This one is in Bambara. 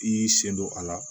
I y'i sen don a la